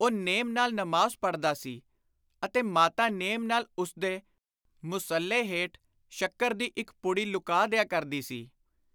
” ਉਹ ਨੋਮ ਨਾਲ ਨਮਾਜ਼ ਪੜ੍ਹਦਾ ਸੀ ਅਤੇ ਮਾਤਾ ਨੇਮ ਨਾਲ ਉਸਦੇ ਮੁਸੱਲੇ ਹੇਠ ਸ਼ੱਕਰ ਦੀ ਇਕ ਪੁੜੀ ਲੁਕਾ ਦਿਆ ਕਰਦੀ ਸੀ।